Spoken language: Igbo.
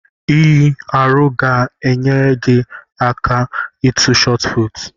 Inyi arọ ga enyere gị aka ịtụ shotput